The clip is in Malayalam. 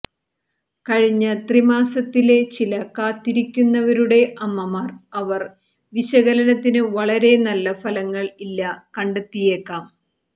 കഴിഞ്ഞ ത്രിമാസത്തിലെ ചില കാത്തിരിക്കുന്നവരുടെ അമ്മമാർ അവർ വിശകലനത്തിന് വളരെ നല്ല ഫലങ്ങൾ ഇല്ല കണ്ടെത്തിയേക്കാം